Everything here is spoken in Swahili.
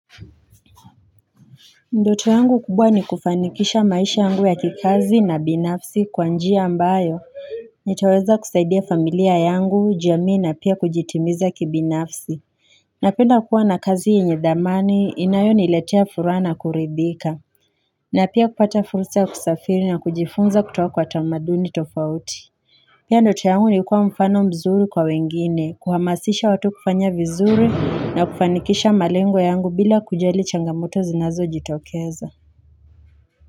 Ndoto yangu kubwa ni kufanikisha maisha yangu ya kikazi na binafsi kwa njia ambayo nitaweza kusaidia familia yangu jamii na pia kujitimiza kibinafsi na penda kuwa na kazi yenye dhamani inayoniletea furahs na kuridhika na pia kupata fursa ya kusafiri na kujifunza kutoka kwa tamaduni tofauti pia ndoto yangu ni kuwa mfano mzuri kwa wengine kuhamasisha watu kufanya vizuri na kufanikisha malengo yangu bila kujali changamoto zinazo jitokeza.